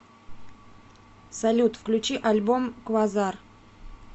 салют включи альбом квазар